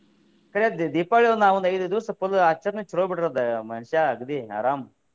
ಕರೆ ದಿ~ ದೀಪಾವಳಿ ನಾವ ಒಂದ ಐದ ದಿವಸ full ಆಚರಣೆ ಚಲೋ ಬಿಡ್ರಿ ಅದ ಅಗ್ದಿ ಆರಾಮ್.